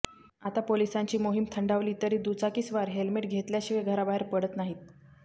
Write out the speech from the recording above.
आता पोलिसांची मोहीम थंडावली तरी दुचाकीस्वार हेल्मेट घेतल्याशिवाय घराबाहेर पडत नाहीत